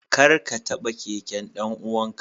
Kar ka taba keken dan uwanka.